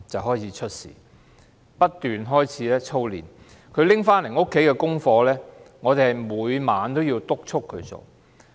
學校不斷操練，他帶回家的功課，我們每晚也要督促他完成。